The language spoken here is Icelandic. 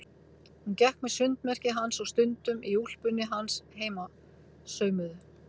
Hún gekk með sundmerkið hans og stundum í úlpunni hans heimasaumuðu.